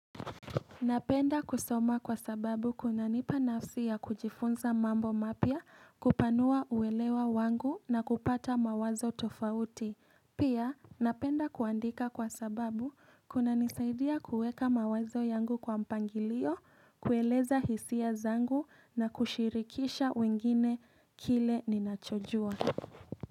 Napenda kusoma kwa sababu kuna nipa nafsi ya kujifunza mambo mapya kupanua uelewa wangu na kupata mawazo tofauti. Pia napenda kuandika kwa sababu kuna nisaidia kuweka mawazo yangu kwa mpangilio, kueleza hisia zangu na kushirikisha wengine kile ninachojua.